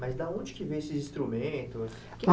Mas da onde que vem esses instrumentos?